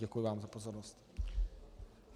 Děkuji vám za pozornost.